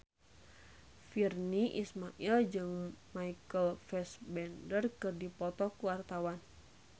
Virnie Ismail jeung Michael Fassbender keur dipoto ku wartawan